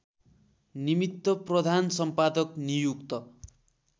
निमित्त प्रधानसम्पादक नियुक्त